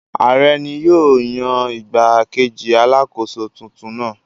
Ààrẹ ni yóò yan igbá-kejì Alákóso tuntun náà.